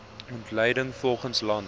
ontleding volgens land